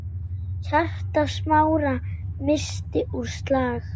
Hjarta Smára missti úr slag.